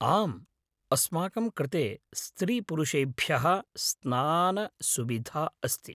आम्, अस्माकं कृते स्त्रीपुरुषेभ्यः स्नानसुविधा अस्ति।